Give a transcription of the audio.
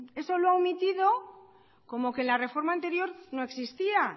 eso lo ha omitido como que la reforma anterior no existía